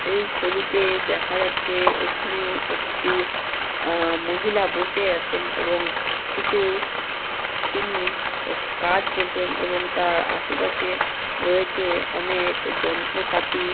এই ছবিতে দেখা যাচ্ছে এখানে একটি আ মহিলা বসে আছেন এবং কিছু তিনি এ কাজ করছেন এবং তার আশেপাশে রয়েছে অনেক যন্ত্রপাতি।